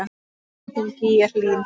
Unginn þinn, Gígja Hlín.